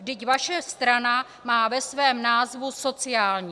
Vždyť vaše strana má ve svém názvu sociální.